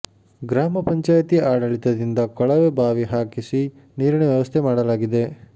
ಗ್ರಾಮ ಪಂಚಾಯಿತಿ ಆಡಳಿತದಿಂದ ಕೊಳವೆ ಬಾವಿ ಹಾಕಿಸಿ ನೀರಿನ ವ್ಯವಸ್ಥೆ ಮಾಡಲಾಗಿದೆ